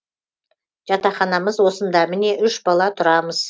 жатақханамыз осында міне үш бала тұрамыз